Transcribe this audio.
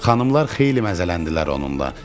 Xanımlar xeyli məzələndilər onunla.